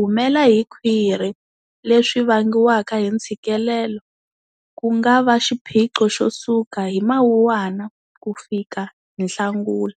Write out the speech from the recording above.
humela hi khwiri leswi vangiwaka hi ntshikilelo ku nga va xiphiqo xo suka hi Mawuwana ku fika hi Nhlangula.